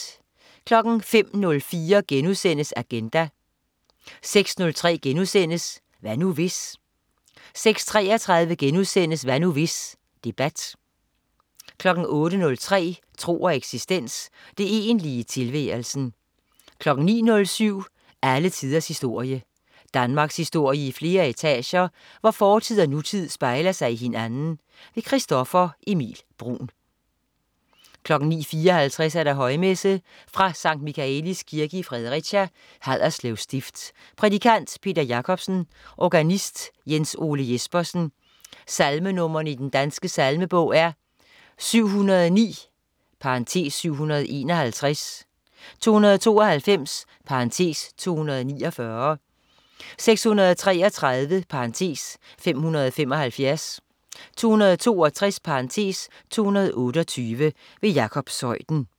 05.04 Agenda* 06.03 Hvad nu, hvis?* 06.33 Hvad nu, hvis? Debat* 08.03 Tro og eksistens. Det egentlige i tilværelsen 09.07 Alle tiders historie. Danmarkshistorie i flere etager, hvor fortid og nutid spejler sig i hinanden. Christoffer Emil Bruun 09.54 Højmesse. Fra Sct. Michaelis Kirke, Fredericia, Haderslev stift. Prædikant: Peter Jacobsen. Organist: Jens Ole Jespersen. Salmenr. i Den Danske Salmebog: 709 (751), 292 (249), 633 (575), 262 (228). Jakob Zeuthen